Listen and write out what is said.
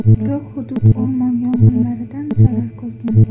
Biroq hudud o‘rmon yong‘inlaridan zarar ko‘rgan.